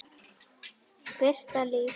Birta Líf.